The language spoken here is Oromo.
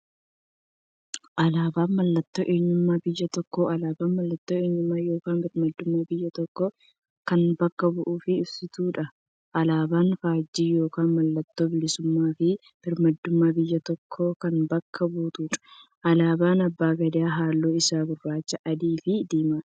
Alaabaan mallattoo eenyummaa biyya tokkooti. Alaabaan mallattoo eenyummaa yookiin birmaadummaa biyya tokkoo kan bakka bu'uuf ibsituudha. Alaaban faajjii yookiin maallattoo bilisuummaafi birmaadummaa biyya tokkoo kan bakka buutuudha. Alaabaan abbaa gadaa haalluun isaa gurraacha, adiifi diimaadha.